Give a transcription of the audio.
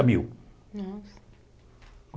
mil